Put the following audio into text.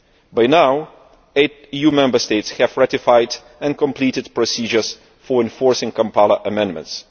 By now eight EU Member States have ratified and completed procedures for enforcing the Kampala amendments